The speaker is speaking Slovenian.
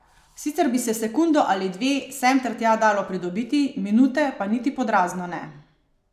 Sicer bi se sekundo ali dve sem ter tja dalo pridobiti, minute pa niti pod razno ne.